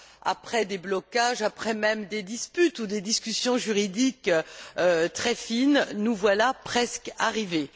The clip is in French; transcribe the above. Après des blocages, voire des disputes ou des discussions juridiques très fines, nous voilà presque arrivés.